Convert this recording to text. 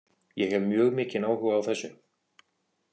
Ég hef mjög mikinn áhuga á þessu.